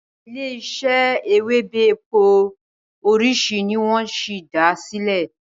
ilé ise Ewebẹ̀ èpò orisi ni wón sí dá silẹ